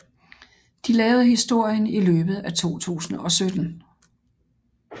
De lavede historien i løbet af 2017